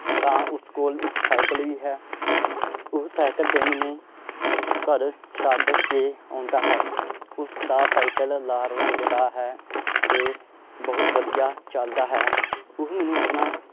ਤਾਂ ਉਸ ਕੋਲ ਇੱਕ ਸਾਇਕਲ ਵੀ ਹੈ ਉਹ ਸਾਇਕਲ ਤੇ ਮੈਨੂੰ ਘਰ ਛੱਡ ਕੇ ਆਉਂਦਾ ਹੈ ਉਸਦਾ ਸਾਇਕਲ ਲਾਲ ਰੰਗ ਦਾ ਹੈ, ਤੇ ਬਹੁਤ ਵਧੀਆ ਚੱਲਦਾ ਹੈ ਉਹ ਮੈਨੂੰ ਆਪਣਾ